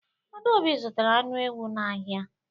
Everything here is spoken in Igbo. Adaobi zụtara anụ ewu n'ahịa.